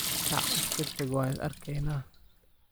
Kaac iskataq wan isarkeyna.